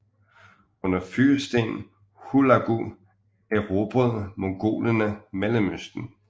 Under fyrsten Hulagu erobrede mongolerne Mellemøsten